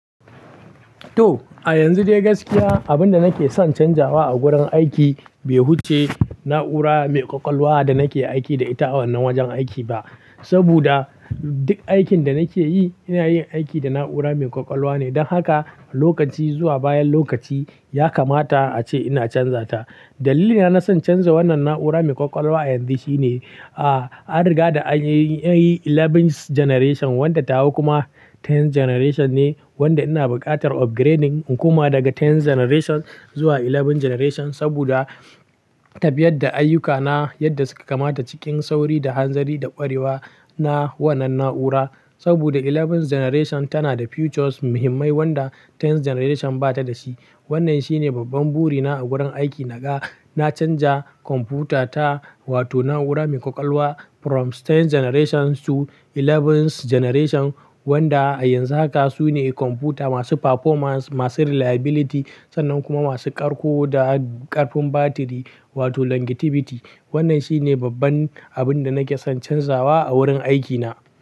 To a yanzu dai gaskiya abin da nake son canzawa a gurin aiki bai wuce na'ura mai ƙwaƙwalwa da nake aiki da ita a wannan wajen aiki ba. Saboda duk aikin da nake yi, ina yin aiki da na'ura mai ƙwaƙwalwa ne. Don haka lokaci zuwa bayan lokaci ya kamata ace ina canza ta. Dalili na na son canza wannan na'ura mai ƙwaƙwalwa a yanzu shine, ah an riga da an yi eleventh generation wanda tawa kuma tenth generation ne wanda ina buƙatar upgrading in koma daga tenth generation zuwa eleventh generation saboda tafiyar da ayyukana yadda suka kamata cikin sauri da hanzari da ƙwarewa na wannan na'ura. Saboda eleventh generation tana da features muhimmai wanda tenth generation ba ta da shi. Wannan shine babban burina a gurin aiki naga na canja kwamfuta ta wato na'ura mai ƙwaƙwalwa from tenth generation to eleventh generation wanda a yanzu haka su ne kwamfuta masu performance, masu reliability sannan kuma masu ƙarko da ƙarfin batiri wato longevity. Wannan shi ne babban abin da nake son canzawa a wurin aikina.